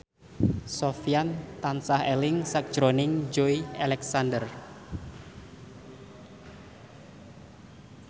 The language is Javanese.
Sofyan tansah eling sakjroning Joey Alexander